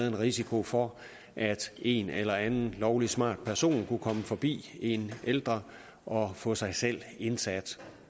en risiko for at en eller anden lovlig smart person kunne komme forbi en ældre og få sig selv indsat